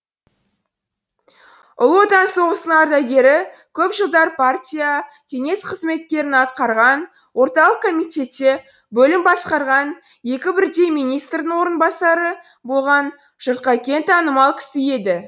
ұлы отан соғысының ардагері көп жылдар партия кеңес қызметтерін атқарған орталық комитетте бөлім басқарған екі бірдей министрдің орынбасары болған жұртқа кең танымал кісі еді